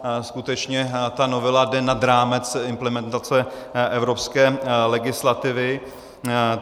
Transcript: Skutečně ta novela jde nad rámec implementace evropské legislativy.